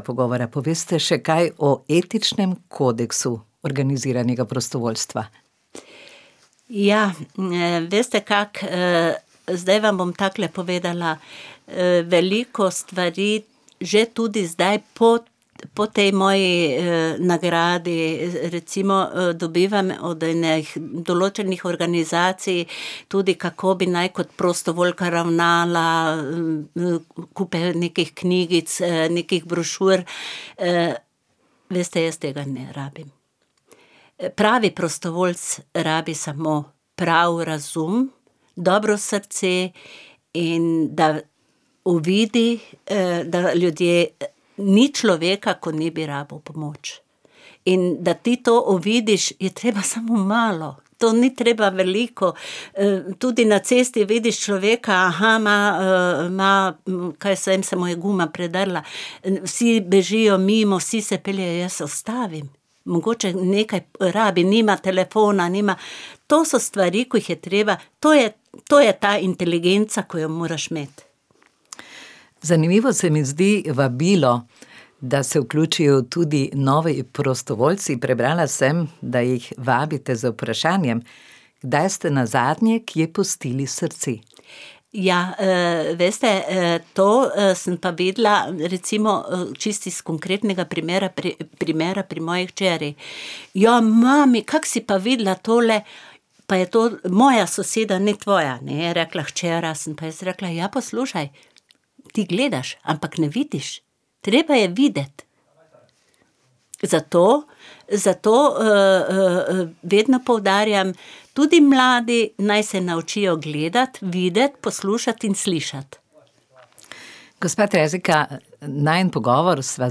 pogovora poveste še kaj o etičnem kodeksu organiziranega prostovoljstva. Ja, veste, kako, zdaj vam bom takole povedala, veliko stvari, že tudi zdaj po, po tej moji, nagradi recimo dobivam od enih določenih organizacij tudi, kako bi naj kot prostovoljka ravnala, kupi nekih knjigic, nekih brošur, veste, jaz tega ne rabim. Pravi prostovoljec rabi samo pravi razum, dobro srce in da uvidi, da ljudje, ni človeka, ko ne bi rabil pomoč, in da ti to uvidiš, je treba samo malo, to ni treba veliko. tudi na cesti vidiš človeka, ma, ma, kaj jaz vem, se mu je guma predrla, vsi bežijo mimo, vsi se peljejo, jaz se ustavim, mogoče nekaj rabi, nima telefona, nima ... To so stvari, ki jih je treba, to je, to je ta inteligenca, ko jo moraš imeti. Zanimivo se mi zdi vabilo, da se vključijo tudi novi prostovoljci, prebrala sem, da jih vabite z vprašanjem, kdaj ste nazadnje kje pustili srce? Ja, veste, to, sem pa videla, recimo čisto iz konkretnega primera primera pri moji hčeri. "Ja, mami, kako si pa vedela tole, pa je to moja soseda, ne tvoja," je rekla hčera, sem pa jaz rekla: "Ja, poslušaj ti gledaš, ampak ne vidiš." Treba je videti zato, zato, vedno poudarjam, tudi mladi naj se naučijo gledati, videti, poslušati in slišati. Gospa Terezika, najin pogovor sva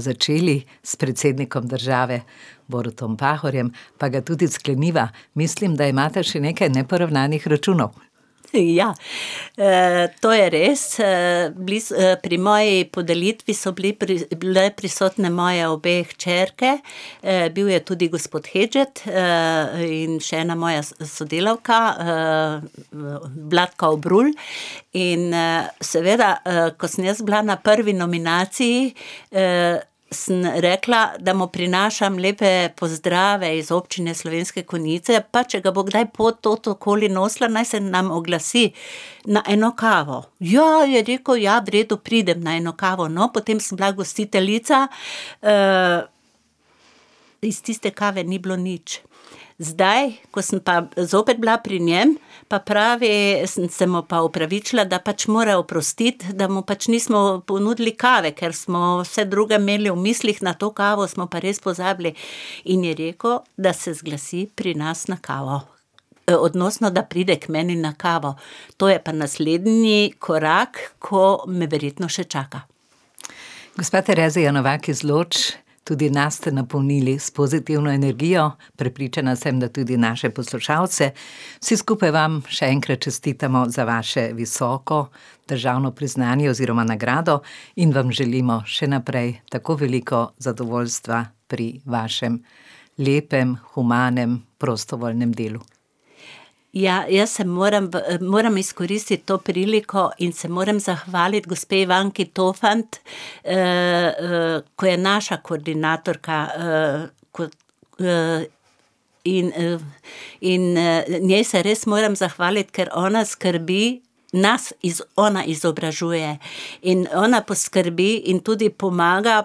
začeli s predsednikom države Borutom Pahorjem, pa ga tudi skleniva. Mislim, da imate še nekaj neporavnanih računov. ja, to je res, bili pri moji podelitvi so bili, bile prisotne moje obe hčerke, bil je tudi gospod Hedžet, in še ena moja sodelavka, [ime in priimek] in, seveda, ko sem bila jaz na prvi nominaciji, sem rekla, da mu prinašam lepe pozdrave iz občine Slovenske Konjice, pa če ga bo kdaj pot tod okoli nosila, naj se nam oglasi. Na eno kavo. "Ja", je rekel "ja, v redu pridem na eno kavo," no, potem sem bila gostiteljica, iz tiste kave ni bilo nič. Zdaj, ko sem pa zopet bila pri njem, pa pravi, sem se mu pa opravičila, da pač mora oprostiti, da mu pač nismo ponudili kave, ker smo vse druge imeli v mislih, na to kavo smo pa res pozabili in je rekel, da se zglasi pri nas na kavo. odnosno, da pride k meni na kavo, to je pa naslednji korak, ko me verjetno še čaka. Gospa Terezija Novak iz Loč, tudi nas ste napolnili s pozitivno energijo. Prepričana sem, da tudi naše poslušalce. Vsi skupaj vam še enkrat čestitamo za vaše visoko težavno priznanje oziroma nagrado in vam želimo še naprej tako veliko zadovoljstva pri vašem lepem humanem prostovoljnem delu. Ja, jaz se moram, moram izkoristiti to priliko in se moram zahvaliti gospe [ime in priimek] . ko je naša koordinatorka, kot, ... In, in, njen se res moram zahvaliti, ker ona skrbi, nas ona izobražuje in ona poskrbi in tudi pomaga,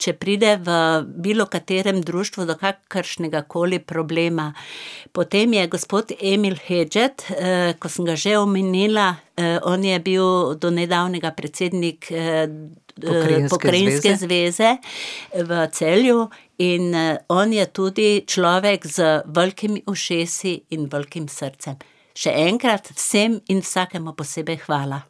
če pride v bilo katerem društvu do kakršnegakoli problema. Potem je gospod Emil Hedžet, ko sem ga že omenila. on je bil do nedavnega predsednik, Pokrajinske zveze. Pokrajinske zveze. V Celju. In, on je tudi človek z velikimi ušesi in velikim srcem. Še enkrat vsem in vsakemu posebej hvala.